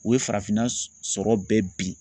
U ye farafinna sɔrɔ bɛɛ bi